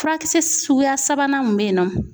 Furakisɛ suguya sabanan mun bɛ yen nɔ